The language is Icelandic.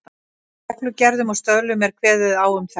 Í reglugerðum og stöðlum er kveðið á um þetta.